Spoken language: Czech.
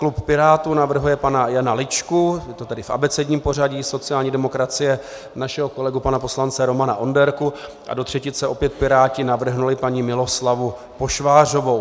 Klub Pirátů navrhuje pana Jana Ličku - je to tedy v abecedním pořadí, sociální demokracie našeho kolegu pana poslance Romana Onderku a do třetice opět Piráti navrhli paní Miloslavu Pošvářovou.